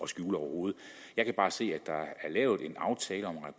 skjule overhovedet jeg kan bare se at der er lavet en aftale om